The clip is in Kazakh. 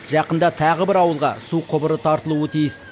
жақында тағы бір ауылға су құбыры тартылуы тиіс